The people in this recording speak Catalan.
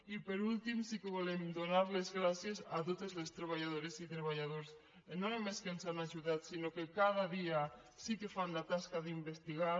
i per últim sí que volem donar les gràcies a totes les treballadores i treballadors no només que ens han ajudat sinó que cada dia sí que fan la tasca d’investigar